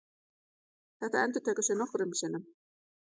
Þetta endurtekur sig nokkrum sinnum.